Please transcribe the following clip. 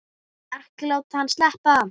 Ekki láta hann sleppa!